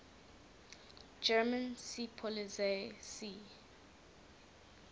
german seepolizei sea